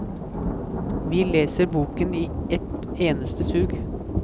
Vi leser boken i ett eneste sug.